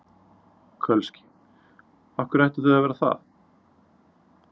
Kölski: Af hverju ættu þau að vera það?